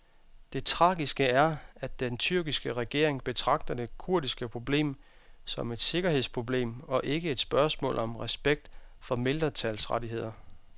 Det tragiske er, at den tyrkiske regering betragter det kurdiske problem som et sikkerhedsproblem og ikke et spørgsmål om respekt for mindretalsrettigheder.